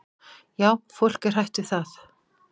"""Já, fólk er hrætt við það."""